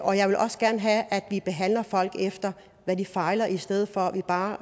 og jeg vil også gerne have at vi behandler folk efter hvad de fejler i stedet for at vi bare